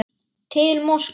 Til Moskvu